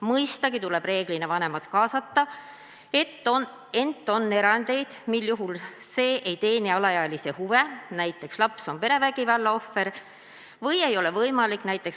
Mõistagi tuleb reeglina vanemad kaasata, ent on erandeid, mil see ei teeni alaealise huve või ei ole võimalik .